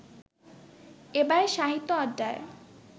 এবারের সাহিত্য আড্ডায়